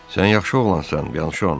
Sən yaxşı oğlansan, Byanşon.